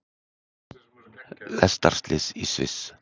Lestarslys í Sviss